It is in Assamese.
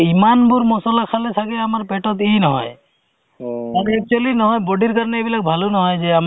actually অ ধৰা অ তেনেকুৱা ধৰণৰ কামখিনি ক'লে বহুত experience এটা life ত মানে বহুত experience হয় নহয় জানো